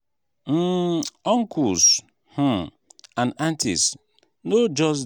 um uncles um and aunties no just dey for just dey for fun dem dey guide and support us. um